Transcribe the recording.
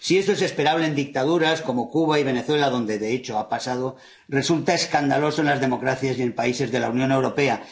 Si esto es esperable en dictaduras como Cuba y Venezuela, donde de hecho ha pasado, resulta escandaloso en las democracias y países de la Unión Europea.